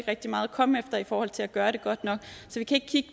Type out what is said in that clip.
rigtig meget at komme efter i forhold til at gøre det godt nok